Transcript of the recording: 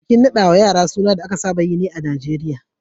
Bikin nada wa yara suna ne da aka saba yi a Najeriya